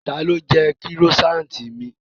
Ta ló jẹ kírósaanti mi?